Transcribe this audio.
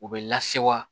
U bɛ lase wa